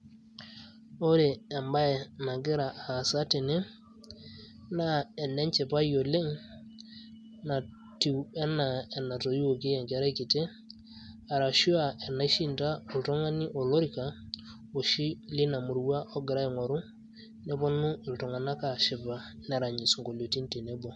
Ore ebae nagira aasa tene, naa enenchipai oleng' natiu enaa enatoiwuoki enkerai kiti, arashu enaishinda oltung'ani olorika, oshi lina murua ogira aing'oru. Neponu iltung'anak aashipa nerany isinkolioitin tenebo.